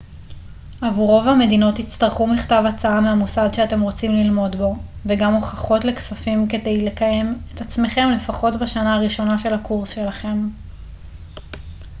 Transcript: עבור רוב המדינות תצטרכו מכתב הצעה מהמוסד שאתם רוצים ללמוד בו וגם הוכחות לכספים כדי לקיים את עצמכם לפחות בשנה הראשונה של הקורס שלכם